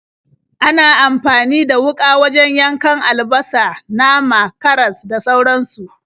Ana amfani da wuƙa wajen yankan albasa, nama, karas, da sauransu.